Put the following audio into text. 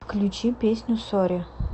включи песню сорри